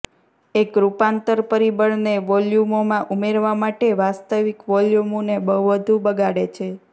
એક રૂપાંતર પરિબળને વોલ્યુમોમાં ઉમેરવા માટે વાસ્તવિક વોલ્યુમોને વધુ બગાડે છે